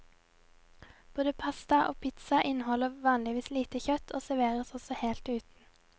Både pasta og pizza inneholder vanligvis lite kjøtt, og serveres også helt uten.